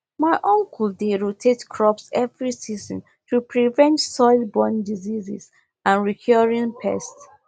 my uncle dey rotate crops every season to prevent soilborne diseases and recurring pests